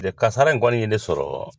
Tile kasara in kɔni ye ne sɔrɔ